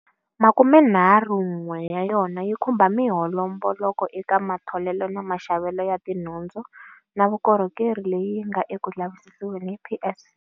Makumenharhun'we ya yona yi khumba mihomboloko eka matholelo na maxavelo ya tinhundzu na vukorhokeri leyi yi nga eku lavisisiweni hi PSC.